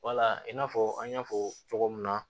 Wala in n'a fɔ an y'a fɔ cogo min na